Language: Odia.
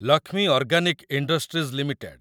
Lakshmi organic industries limited